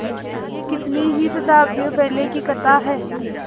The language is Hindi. यह कितनी ही शताब्दियों पहले की कथा है